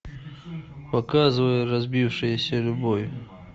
показывай разбившаяся любовь